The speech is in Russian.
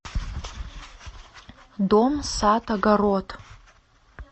дом сад огород